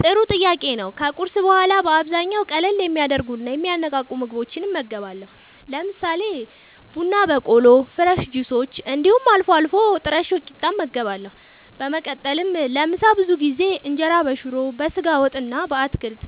ጥሩ ጥያቄ ነዉ ከቁርስ በኋላ በአብዛኛዉ ቀለል የሚያደርጉና የሚያነቃቁ ምግቦችን እመገባለሁ። ለምሳሌ፦ ቡና በቆሎ፣ ፍረሽ ጁሶች እንዲሁም አልፎ አልፎ ጥረሾ ቂጣ እመገባለሁ። በመቀጠልም ለምሳ ብዙ ጊዜ እንጀራበሽሮ፣ በስጋ ወጥ እና በአትክልት(